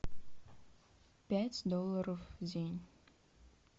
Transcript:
пять долларов в день